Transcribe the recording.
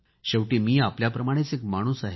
शेवटी मी आपल्याप्रमाणेच एक माणूस आहे